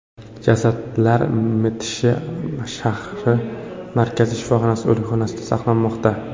Jasadlar Mitishi shahar markaziy shifoxonasi o‘likxonasida saqlanmoqda.